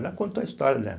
Ela contou a história dela.